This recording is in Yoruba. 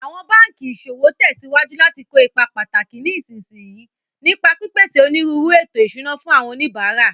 Awọn banki iṣowo tẹsiwaju lati ko ipa pataki ní ìsinsìnyí, nípa pípèsè onírúurú ètò ìṣúná fún àwọn oníbàárà.